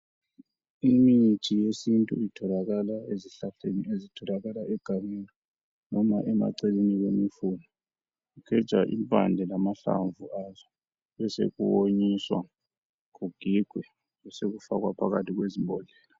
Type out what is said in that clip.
Imithi yesintu itholakala ezihlahleni ezitholakala egangeni noma emaceleni kwemifula. Kugejwa impande lamahlamvu azo besokuwonyiswa kugigwe besokufakwa phakathi kwezimbodlela.